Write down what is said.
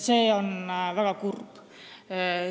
See on väga kurb.